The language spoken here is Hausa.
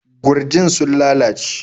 Gurjin sun lalace.